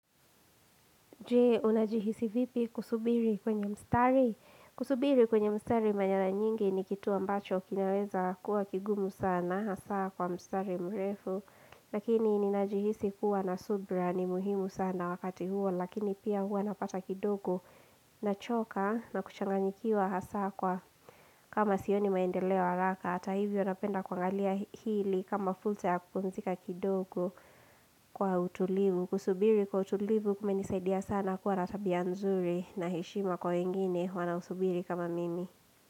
Jee, unajihisi vipi kusubiri kwenye mstari? Kusubiri kwenye mstari kwa mara nyingi ni kitu ambacho, kinaweza kuwa kigumu sana, hasa kwa mstari mrefu. Lakini, ninajihisi kuwa na subra ni muhimu sana wakati huo, lakini pia huwa napata kidogo nachoka na kuchanganikiwa hasa kwa kama sioni maendeleo haraka. Hata hivyo, napenda kuangalia hili kama fulsa ya kupumzika kidogo kwa utulivu. Kusubiri kwa utulivu kumenisaidia sana kuwa ra tabia nzuri na heshima kwa wengine wanaosubiri kama mimi.